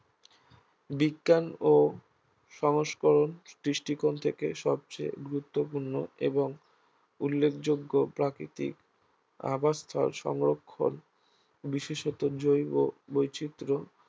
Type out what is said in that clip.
বিজ্ঞান বা সংস্করণ দৃষ্টিকোণ থেকে সবচেয়ে গুরুত্বপূর্ণ এবং উল্লেখযোগ্য প্রাকৃতিক আবাসস্থল সংরক্ষন বিশেষত জৈব বৈচিত্র্য